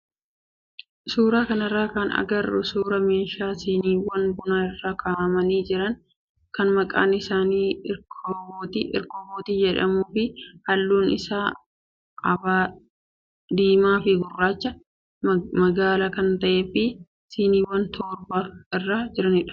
Suuraa kanarraa kan agarru suuraa meeshaa siiniiwwan bunaa irra kaa'amanii jiran kan maqaan isaa irkabootii jedhamuu fi halluun isa avereejii diimaa fi gurraachaa magaala kan ta'ee fi siiniiwwan torba irra jiranidha.